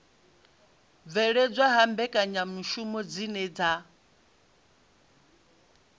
bveledzwa ha mbekanyamishumo dzine dza